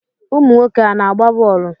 Ụmụ nwoke a na-agba bọọlụ?